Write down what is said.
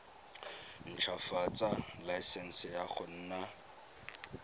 ntshwafatsa laesense ya go nna